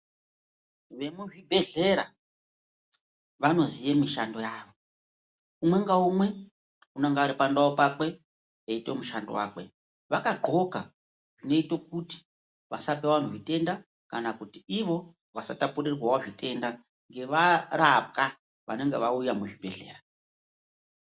Vemuzvibhedhlera vanoziye mishando yavo umwe ngaumwe unenge ari pandau pakwe eyiite mushando wakwe vakadhxoka inoito kuti vasape vanhu zvitenda kana kuti ivo vasatapurirwawo zvitenda ngevarapwa vanenge vauya muzvibhedhlera